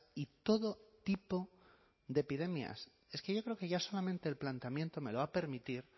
y todo tipo de epidemias es que yo creo que ya solamente el planteamiento me lo va a permitir